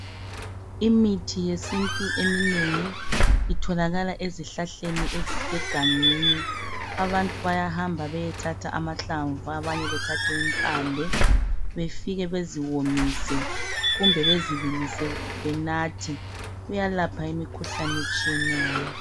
Imithi yesintu eminengi itholakala ezihlahleni ezisegangeni. Abantu bayahamba beyethatha amahlamvu ,abanye bethathe impande befike beziwomise kumbe bezibillise benathe. Kuyalapha imikhuhlane etshiyeneyo.